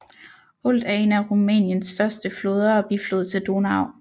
Olt er en af Rumæniens største floder og biflod til Donau